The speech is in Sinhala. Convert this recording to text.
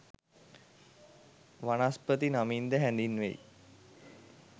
වනස්පති නමින්ද හැඳින්වෙයි.